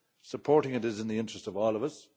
Supporting it is in the interest of all of